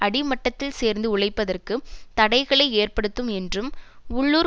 அடிமட்டத்தில் சேர்ந்து உழைப்பதற்கு தடைகளை ஏற்படுத்தும் என்றும் உள்ளூர்